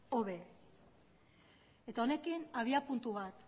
hobe eta honekin abiapuntu bat